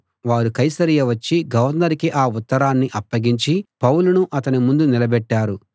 వారు కైసరయ వచ్చి గవర్నరుకి ఆ ఉత్తరాన్ని అప్పగించి పౌలును అతని ముందు నిలబెట్టారు